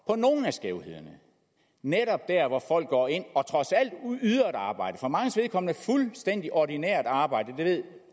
på nogle af skævhederne netop der hvor folk går ind og trods alt yder et arbejde for manges vedkommende et fuldstændig ordinært arbejde det ved